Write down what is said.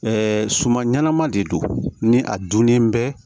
suman ɲɛnama de don ni a dunnen bɛ